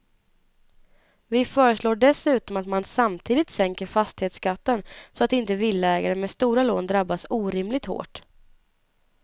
Vi föreslår dessutom att man samtidigt sänker fastighetsskatten så att inte villaägare med stora lån drabbas orimligt hårt.